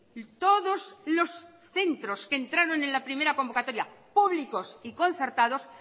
y todos los centros que entraron en la primera convocatoria públicos y concertados